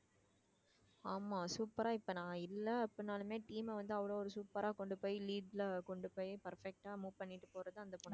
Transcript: ஆமா super ஆ இப்ப நான் இல்லை அப்படின்னாலுமே team அ வந்து அவ்வளவு ஒரு super ஆ கொண்டு போய் lead ல கொண்டு போய் perfect ஆ move பண்ணிட்டு போறது அந்த பொண்ணுதான்